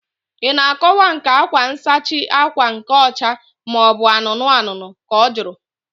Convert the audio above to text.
Ị na akọwa nke akwa nsachi ákwà nke ọcha maobu anụnụ anụnụ? Ka ọ jụrụ